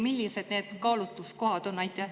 Millised need kaalutluskohad on?